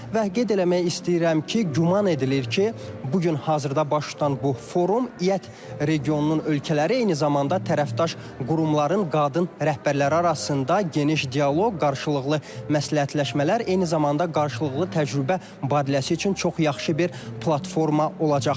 Və qeyd eləmək istəyirəm ki, güman edilir ki, bu gün hazırda baş tutan bu forum İƏT regionunun ölkələri eyni zamanda tərəfdaş qurumların qadın rəhbərləri arasında geniş dialoq, qarşılıqlı məsləhətləşmələr, eyni zamanda qarşılıqlı təcrübə mübadiləsi üçün çox yaxşı bir platforma olacaq.